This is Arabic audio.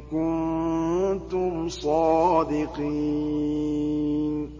كُنتُمْ صَادِقِينَ